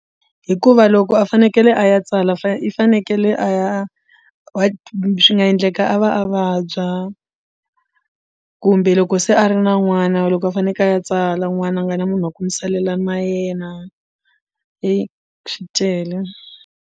Hikuva loko a fanekele a ya tsala fane i fanekele a ya swi nga endleka a va a vabya kumbe loko se a ri na n'wana loko a faneke a ya tsala n'wana a nga na munhu wa ku mu salela na yena swi tele.